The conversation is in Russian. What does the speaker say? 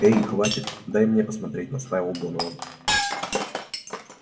эй хватит дай мне посмотреть настаивал донован